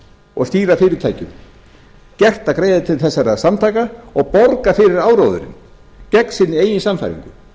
og stýra fyrirtækjum gert að greiða til þessara samtaka og borga fyrir áróðurinn gegn sinni eigin sannfæringu þeir